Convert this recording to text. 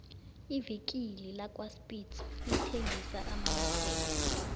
ivikile lakwaspitz lithengisa amanyathelo